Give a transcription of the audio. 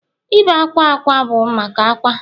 Ibé akwa akwa bụ maka akwa